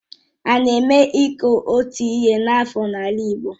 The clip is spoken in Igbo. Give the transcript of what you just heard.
Ána eme iku otu ihe kwa afọ n'ala Igbo?